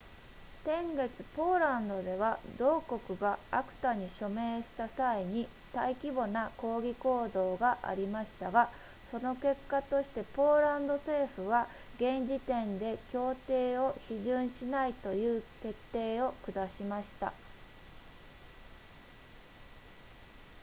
先月ポーランドでは同国が acta に署名した際に大規模な抗議行動がありましたがその結果としてポーランド政府は現時点で協定を批准しないという決定を下しました